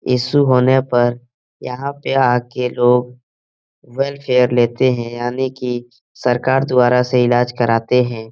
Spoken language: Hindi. इश्यू होने पर यहां पे आकर लोग वेलफेयर लेते है यानि कि सरकार द्वारा से इलाज कराते है।